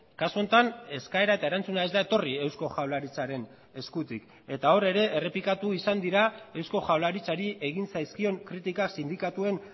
kasu honetan eskaera eta erantzuna ez da etorri eusko jaurlaritzaren eskutik eta hor ere errepikatu izan dira eusko jaurlaritzari egin zaizkion kritika sindikatuen